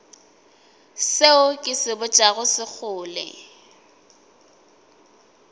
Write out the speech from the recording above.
seo ke se botšago sekgole